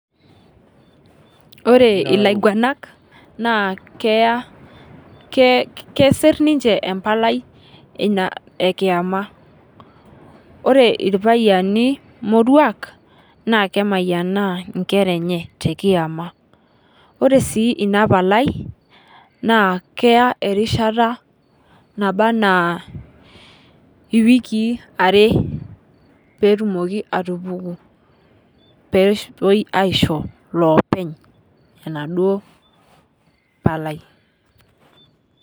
Ore ilaing'ualak naa keea, keesir ninchee empalai enia ekiama. Ore irpayiani moruak naa kemayianaa nkeraa enyee te kiamaa. Ore sii ena mpalai naa keaa erishata nabaa ena iwikii are pee etumoki atupuku pee aishoo loopeny ena doo mpalai.